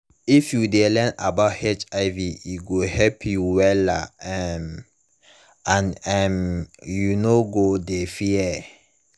if u de learn about hiv e go help you wella um and um you no go de fear